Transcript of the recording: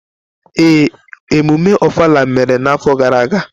Ee, emume Ofala mere n’afọ gara aga.